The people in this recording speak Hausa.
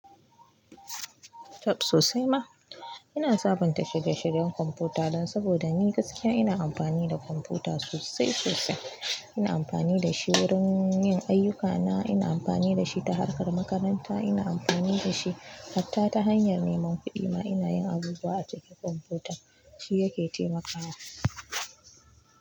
Tab, sosai ma. Ina sabunta shirye-shiryen kwamfuta dan saboda ni gaskiya ina amfani da kwamfuta sosai sosai. Ina amfani da shi wurin yin ayyukana, ina amfani da shi ta harkar makaranta, ina amfani da shi hatta ta hanyar neman kuɗi ma. Ina yin abubuwa a cikin kwamfuta, shi ya ke taimakawa.